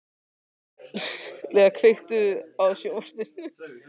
Lea, kveiktu á sjónvarpinu.